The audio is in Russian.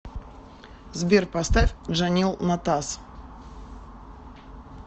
сбер поставь джанил натас